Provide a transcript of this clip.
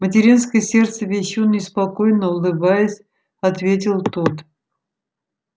материнское сердце-вещун неспокойно улыбаясь ответил тот